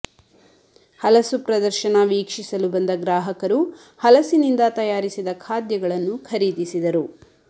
ಹಲಸು ಪ್ರದರ್ಶನ ವೀಕ್ಷಿಸಲು ಬಂದ ಗ್ರಾಹಕರು ಹಲಸಿನಿಂದ ತಯಾರಿಸಿದ ಖಾದ್ಯಗಳನ್ನು ಖರೀದಿಸಿದರು